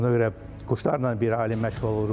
Ona görə quşlarla bir alim məşğul olurdu.